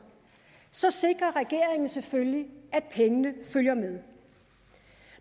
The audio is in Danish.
så sikrer regeringen selvfølgelig at pengene følger med